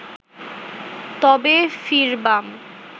তবে ফিরবাম